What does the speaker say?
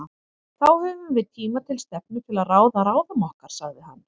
Þá höfum við tíma til stefnu til að ráða ráðum okkar, sagði hann.